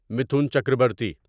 Mithun Chakraborty